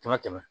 Kɛmɛ tɛmɛ